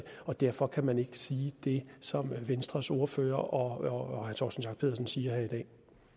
og derfor kan man ikke sige det som venstres ordfører og herre torsten schack pedersen siger her i dag